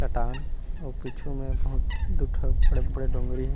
कटान उ पीछू में बहुत दु ठ बड़े-बड़े डोंगरी हे।